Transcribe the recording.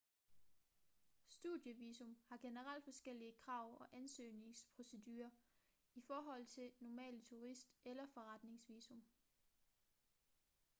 studievisum har generelt forskellige krav og ansøgningsprocedurer i forhold til normale turist- eller forretningsvisum